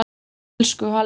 Elsku Halli Palli.